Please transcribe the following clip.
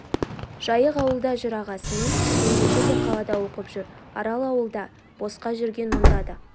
жайық ауылда жүр ағасы мен жеңгесі де қалада оқып жүр арал ауылда босқа жүрген мұнда да